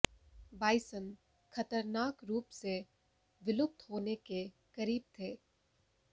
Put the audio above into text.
bison खतरनाक रूप से विलुप्त होने के करीब थे